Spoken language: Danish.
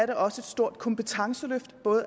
den også et stort kompetenceløft